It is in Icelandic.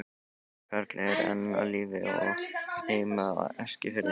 Karl er enn á lífi og á heima á Eskifirði.